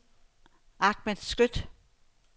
Ahmad Skøtt